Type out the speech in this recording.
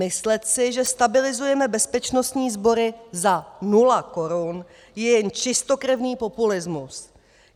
Myslet si, že stabilizujeme bezpečnostní sbory za nula korun, je jen čistokrevný populismus.